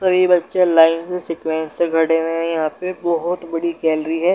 कई बच्चे लाइन से सीक्वेंस से खड़े हुए हैं यहाँ पे बहुत बड़ी गैलरी है।